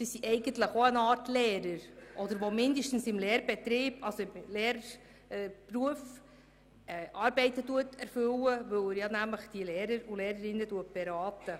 Diese arbeiten im Umfeld der Schule, indem sie die Lehrerinnen und Lehrer beraten.